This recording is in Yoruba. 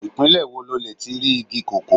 Ìpínlẹ̀ wo lo lè ti rí igi kókó.